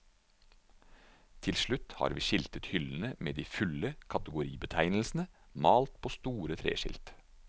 Til slutt har vi skiltet hyllene med de fulle kategoribetegnelsene, malt på store treskilt.